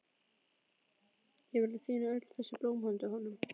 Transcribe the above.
Ég er búin að tína öll þessi blóm handa honum.